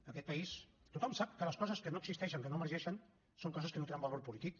en aquest país tothom sap que les coses que no existeixen que no emergeixen són coses que no tenen valor polític